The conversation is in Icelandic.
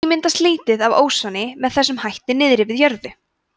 því myndast lítið af ósoni með þessum hætti niðri við jörðu